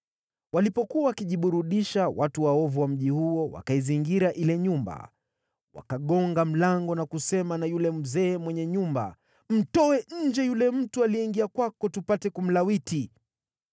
Walipokuwa wakijiburudisha, watu waovu wa mji huo, wakaizingira ile nyumba. Wakagonga mlango na kusema na yule mzee mwenye nyumba, “Mtoe nje yule mtu aliyeingia kwako, tupate kumlawiti.”